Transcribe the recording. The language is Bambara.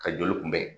Ka joli kunbɛn